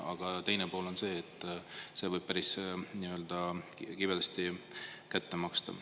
Aga teine pool on see, et see võib päris kibedasti kätte maksta.